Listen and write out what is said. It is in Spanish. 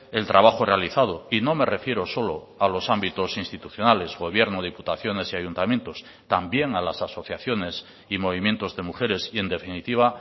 el trabajo realizado y no me refiero solo a los ámbitos institucionales gobierno diputaciones y ayuntamientos también a las asociaciones y movimientos de mujeres y en definitiva